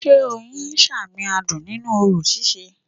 Sé Oyin sàmìn adùn nínú orò síse